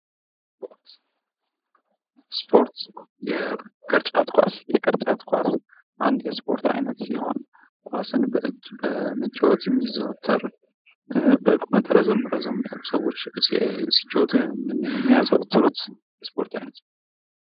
ስፖርት፤ የቅርጫት ኳስ፦ የቅርጫት ኳስ ስፖርት አይነት አንድ ሲሆን ኳስን በእጅ በመጫወት የሚዘወተር በቁመት ረዘም ረዘም ያሉ ሰዎች ሲጫወቱ የሚዘወትሩት የስፖርት አይነት ነው።